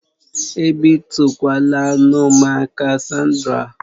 Ebitukwala anụ m aka, Sandra!